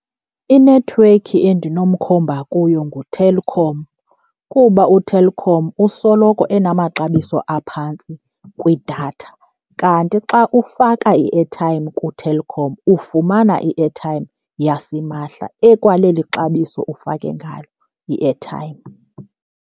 I-network endinomkhomba kuyo nguTelkom kuba uTelkom usoloko enamaxabiso aphantsi kwIdatha. Kanti xa ufaka i-airtime kuTelkom ufumana i-airtime yasimahla ekwaleli xabiso ufake ngalo i-airtime.